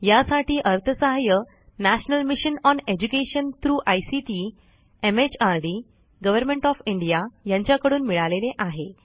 यासाठी अर्थसहाय्य national mission on education through ICT MHRD government of India यांच्याकडून मिळालेले आहे